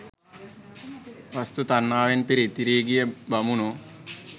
වස්තූ තණ්හාවෙන් පිරී ඉතිරී ගිය බමුණෝ